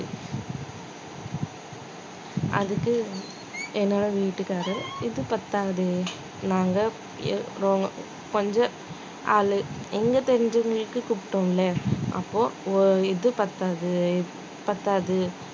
அதுக்கு என்னோட வீட்டுக்காரு இது பத்தாது நாங்க எ~ ரோ~ கொஞ்சம் ஆளு எங்க தெரிஞ்சவங்களுக்கு கூப்பிட்டோம் இல்ல அப்போ ஒ~ இது பத்தாது இது பத்தாது